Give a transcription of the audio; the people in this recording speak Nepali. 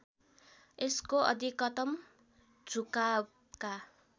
यसको अधिकतम झुकावका